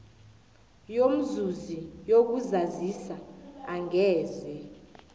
yomzuzi yokuzazisa angeze